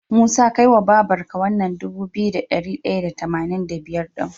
Musa kai wa babar ka wannan Dubu biyu da dari daya da tamanin da biyar din